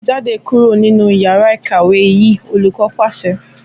Jáde kúrò nínú yàrá ìkàwé yìí! Olùkọ́ pàṣẹ.